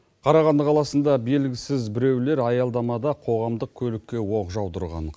қарағанды қаласында белгісіз біреулер аялдамада қоғамдық көлікке оқ жаудырған